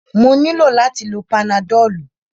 Mo nílò láti lo panadọ́lú.